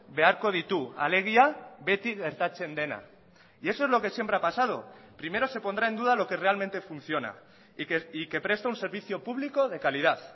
beharko ditu alegia beti gertatzen dena y eso es lo que siempre ha pasado primero se pondrá en duda lo que realmente funciona y que presta un servicio público de calidad